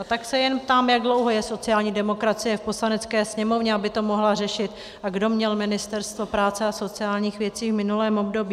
A tak se jen ptám, jak dlouho je sociální demokracie v Poslanecké sněmovně, aby to mohla řešit, a kdo měl Ministerstvo práce a sociálních věcí v minulém období.